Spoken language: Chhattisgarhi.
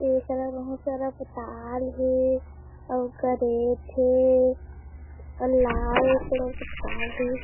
ये करा बहुत सारा पताल हे आऊ करेट हे लाल कलर के तार--